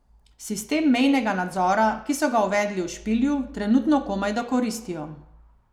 Sistem mejnega nadzora, ki so ga uvedli v Špilju, trenutno komajda koristijo.